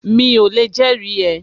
Mi ò lè jẹ́rìí ẹ